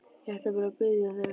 Ég ætla bara að biðja þig.